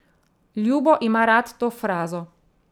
Ljubo ima rad to frazo.